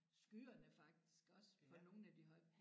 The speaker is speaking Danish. Skyerne faktisk også på nogle af de høje